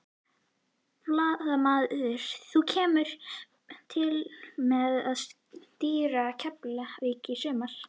Blaðamaður: Þú kemur til með að stýra Keflavík í sumar?